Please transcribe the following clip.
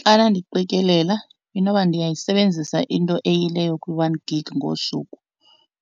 Xana ndiqikelela inoba ndiyayisebenzisa into eyileyo kwi-one gig ngosuku